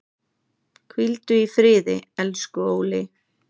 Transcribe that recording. Hvíldu í friði, elsku Óli.